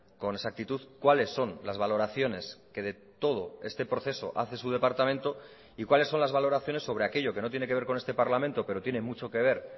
con exactitud cuáles son las valoraciones que de todo este proceso hace su departamento y cuáles son las valoraciones sobre aquello que no tiene que ver con este parlamento pero tiene mucho que ver